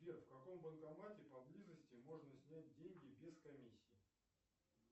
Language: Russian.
сбер в каком банкомате поблизости можно снять деньги без комиссии